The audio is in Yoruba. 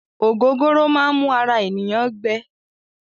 Ògógóró máá n mú ara ènìyàn gbẹ.